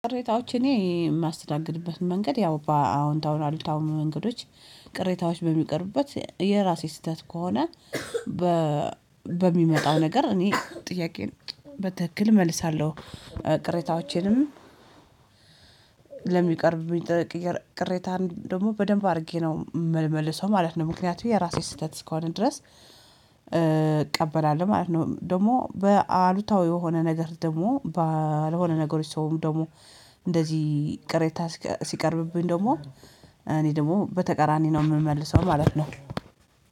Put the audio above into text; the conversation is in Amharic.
ቅሬታዎች እኔ የማስተናግድበትን መንገድ ያው በአዎንታዊ አሉታዊ መንገዶች ቅሬታዎች በሚቀርቡበት የራሴ ስህተት ከሆነ በ በሚመጣው ነገር እኔ ጥያቄን በትክክል እመልሳለሁ። ቅሬታዎቼንም ለሚቀርብብኝ ቅሬታ ደግሞ በደንብ አድርጌ ነው የምልመልሰው ማለት ነው ምክንያቱም የራሴ ስህተት እስከሆነ ድረስ እቀበላለሁ ማለት ነው። ደግሞ በአሉታዊ የሆነ ነገር ደግሞ ባልሆነ ነገሮች ሰውም ደግሞ እንደዚህ ቅሬታ ሲቀርብብኝ ደግሞ እኔ ደግሞ በተቀራኒ ነው የምመልሰው ማለት ነው